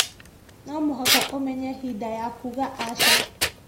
No mũhaka ũmenye hĩndĩ ya kuuga aca.